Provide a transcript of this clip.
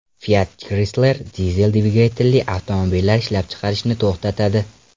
Fiat Chrysler dizel dvigatelli avtomobillar ishlab chiqarishni to‘xtatadi.